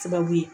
Sababu ye